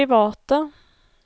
private